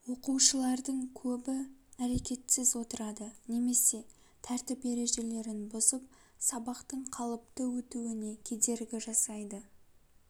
оқушылардың көбі әрекетсіз отырады немесе тәртіп ережелерін бұзып сабақтың қалыпты өтуіне кедергі жасайды